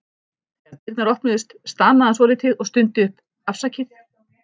Þegar dyrnar opnuðust stamaði hann svolítið og stundi upp: Afsakið